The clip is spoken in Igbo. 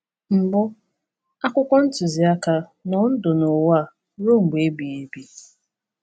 Mbụ, akwụkwọ ntuziaka Nọọ ndụ n’ụwa ruo mgbe ebighị ebi!